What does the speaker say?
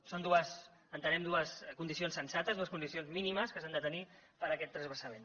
són entenem dues condicions sensates dues condicions mínimes que s’han de tenir per a aquest transvasament